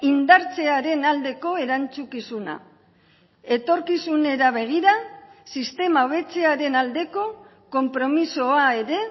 indartzearen aldeko erantzukizuna etorkizunera begira sistema hobetzearen aldeko konpromisoa ere